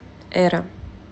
эра